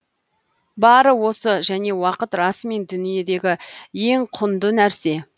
бары осы және уақыт расымен дүниедегі ең құнды нәрсе